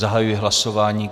Zahajuji hlasování.